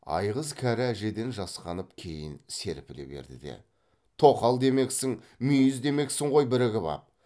айғыз кәрі әжеден жасқанып кейін серпіле берді де тоқал демексің мүйіз демексің ғой бірігіп ап